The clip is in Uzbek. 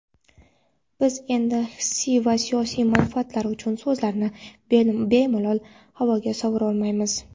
Biz endi hissiy va siyosiy manfaatlar uchun so‘zlarni bemalol havoga sovurolmaymiz.